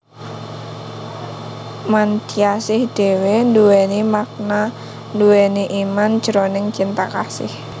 Mantyasih dhéwé nduwèni makna nduwèni iman jroning Cinta Kasih